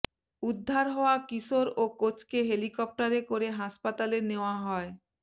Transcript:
উদ্ধার হওয়া কিশোর ও কোচকে হেলিকপ্টারে করে হাসপাতালে নেয়া হয়